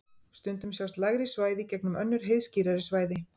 stundum sjást lægri svæði í gegnum önnur heiðskírari svæði